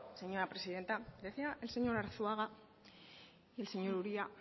señora presidenta decía el señor arzuaga y el señor uria